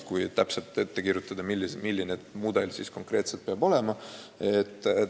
Ei maksa väga täpselt ette kirjutada, milline mudel konkreetselt peab olema.